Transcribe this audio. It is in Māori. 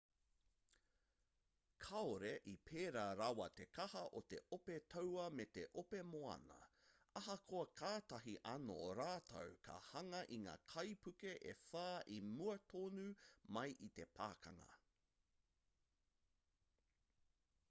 kāore i pēra rawa te kaha o te ope taua me te ope moana ahakoa kātahi anō rātou ka hanga i ngā kaipuke e whā i mua tonu mai i te pakanga